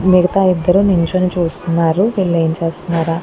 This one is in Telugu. మిగతా ఇద్దరు నిల్చని చూస్తున్నారు వీళ్లే ఏం చేస్తున్నార --